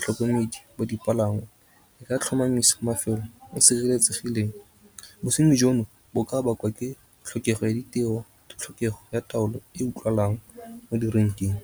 tlhokomedi bo dipalangwa e ka tlhomamisa mafelo o sireletsegileng. Bosenyi jono bo ka bakwa ke tlhokego ya ditiro, tlhokego ya taolo e utlwalang mo direnkeng.